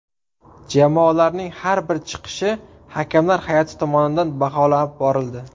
Jamoalarning har bir chiqishi hakamlar hay’ati tomonidan baholab borildi.